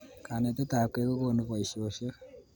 Kanetet ab kei kokonu boishoshek